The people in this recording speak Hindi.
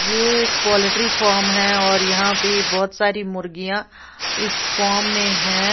ये एक पोल्ट्री फार्म है और यहां पे बहुत सारी मुर्गियां इस फॉर्म में है।